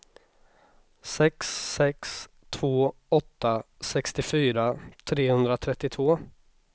sex sex två åtta sextiofyra trehundratrettiotvå